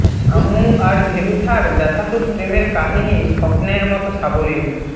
আম্মু আর ভেলুথার ব্যথাতুর প্রেমের কাহীনি স্বপ্নের মতো সাবলীল